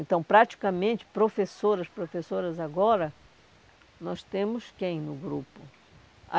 Então, praticamente, professoras, professoras agora, nós temos quem no grupo? A